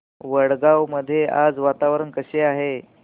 वडगाव मध्ये आज वातावरण कसे आहे